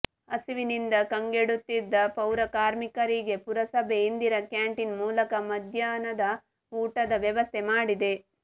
ಹಸಿವಿನಿಂದ ಕಂಗೆಡುತ್ತಿದ್ದ ಪೌರ ಕಾರ್ಮಿಕರಿಗೆ ಪುರಸಭೆ ಇಂದಿರಾ ಕ್ಯಾಂಟೀನ್ ಮೂಲಕ ಮಧ್ಯಾಹ್ನದ ಊಟದ ವ್ಯವಸ್ಥೆ ಮಾಡಿದೆ